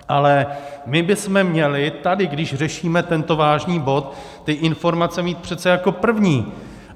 Ale my bychom měli tady, když řešíme tento vážný bod, ty informace mít přece jako první.